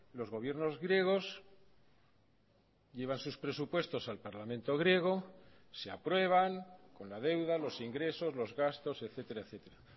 los gobiernos griegos llevan sus presupuestos al parlamento griego se aprueban con la deuda los ingresos los gastos etcétera etcétera